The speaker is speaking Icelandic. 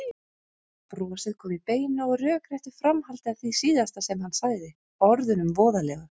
Brosið kom í beinu og rökréttu framhaldi af því síðasta sem hann sagði, orðunum voðalegu.